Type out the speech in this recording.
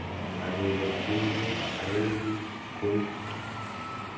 Kakeker tinget, awendi koi.